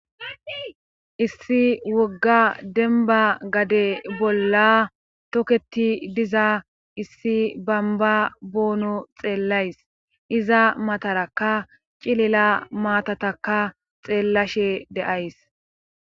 issi wogga demba gade bolla toketi diza issi bamba boono xeellays iza mataraka cilila maatataka xeellashe deays